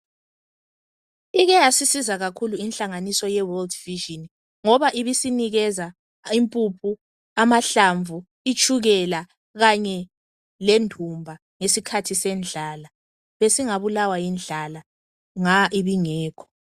Ike yasisiza kakhulu inhlanganiso ye World Vision ngoba ibisinikeza impuphu, amahlamvu, itshukela kanye lendumba ngesikhathi ngesikhathi sendlala. Besingabulawa yindlala nga ibingekho.